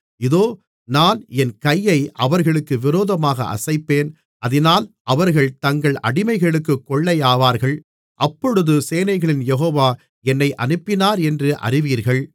இதோ நான் என் கையை அவர்களுக்கு விரோதமாக அசைப்பேன் அதினால் அவர்கள் தங்கள் அடிமைகளுக்குக் கொள்ளையாவார்கள் அப்பொழுது சேனைகளின் யெகோவா என்னை அனுப்பினாரென்று அறிவீர்கள்